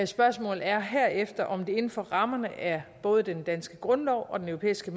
spørgsmål er herefter om det inden for rammerne af både den danske grundlov og den europæiske